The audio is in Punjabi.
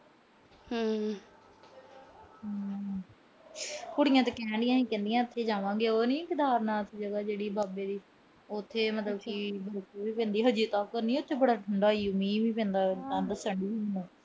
ਕੁੜੀਆਂ ਤਾਂ ਕਹਿੰਦੀਆਂ ਅਸੀਂ ਉਥੇ ਜਾਵਾਂਗੇ, ਉਹ ਨੀ ਕੇਦਾਰਨਾਥ ਜਗਾ ਜਿਹੜੀ ਬਾਬੇ ਦੀ। ਉਥੇ ਮਤਲਬ ਕਿ ਠੰਡ ਈ ਪੈਂਦੀ ਏ ਅਜੇ ਤਾਂ। ਉਥੇ ਮੌਸਮ ਬੜਾ ਠੰਡਾ ਈ। ਮੀਂਹ ਵੀ ਪੈਂਦਾ ਏ। ਠੰਡ ਚ ਠੰਡ ਵੀ ਹੁੰਦੀ ਆ।